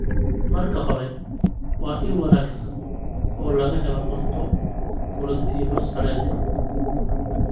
Marka hore, waa il wanaagsan oo laga helo cunto borotiinno sare leh.